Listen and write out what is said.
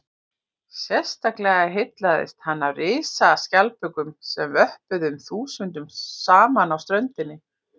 sérstaklega heillaðist hann af risaskjaldbökunum sem vöppuðu um þúsundum saman á ströndinni